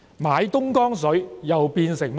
買東江水又變成甚麼呢？